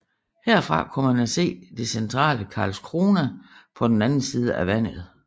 Herfra kunne man se det centrale Karlskrona på den anden side af vandet